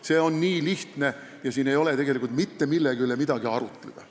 See ongi nii lihtne ja siin ei ole tegelikult mitte millegi üle arutleda.